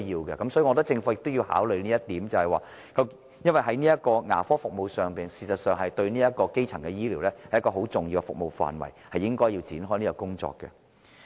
所以，我認為政府應考慮這一點，因為事實上，牙科服務是基層醫療一個很重要的服務範圍，政府應該展開這方面的工作。